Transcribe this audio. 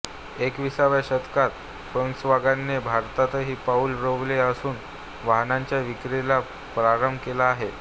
एकविसाव्या शतकात फोक्सवागनने भारतातही पाऊल रोवले असून वाहनांच्या विक्रिला प्रारंभ केला आहे